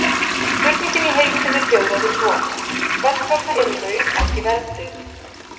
Spurningin í heild sinni hljóðaði svo: Hvers vegna eru laun ekki verðtryggð?